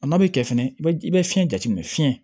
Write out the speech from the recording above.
A n'a bɛ kɛ fɛnɛ i bɛ i bɛ fiɲɛ jateminɛ fiɲɛ